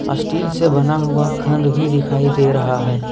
Steel से बना हुआ खंड भी दिखाई दे रहा है।